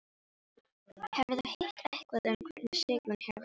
Hefurðu heyrt eitthvað um hvernig Sigrún hefur það?